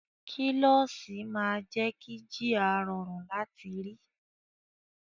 Kílọ́ṣì máa jé kí jíà rọrùn láti rí.